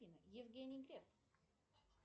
евгений кэп